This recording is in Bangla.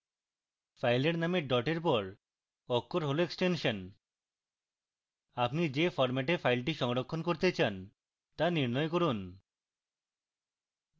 file নামের dot এর পর অক্ষর হল extension আপনি the ফরম্যাটে file সংরক্ষণ করতে চান the নির্ণয় করুন